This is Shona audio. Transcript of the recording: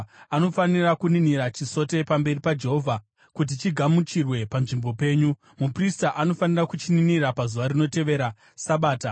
Anofanira kuninira chisote pamberi paJehovha kuti chigamuchirwe panzvimbo penyu. Muprista anofanira kuchininira pazuva rinotevera Sabata.